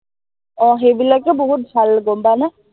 আহ সেইবিলাকতো বহুত ভাল গম পাৱনে?